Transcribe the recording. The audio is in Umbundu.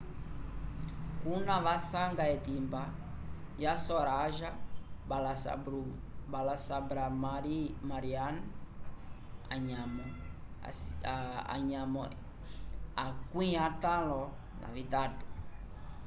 kuna vasanga etimba ya saroja balasubramanian anyamo 53